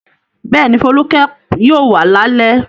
Bẹ́ẹ̀ni, Folúkẹ́ yóò wá lálẹ́.